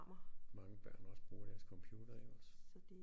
Mange børn også bruger deres computer jo også